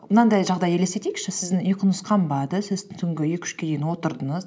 мынандай жағдай елестетейікші сіздің ұйқыңыз қанбады сіз түнгі екі үшке дейін отырдыңыз